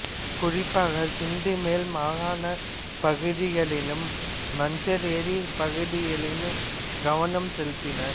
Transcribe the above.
குறிப்பாக சிந்து மேல் மாகாணப் பகுதிகளிலும் மஞ்சார் ஏரிப் பகுதியிலும் கவனம் செலுத்தினார்